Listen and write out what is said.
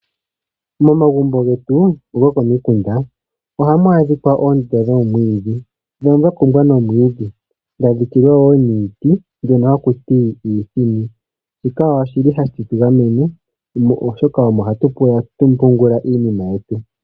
Momagumbo getu gokomikunda, oha mu adhikwa oontse dhoomwiidhi dhono dha kumbwa nomwiidhi, dha dhikilwa woo niiti mbyono ha ku ti iithini. Shika oshili ha shi tu gamene, oshoka omo ha tu pungula iinima yetu.